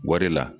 Wari la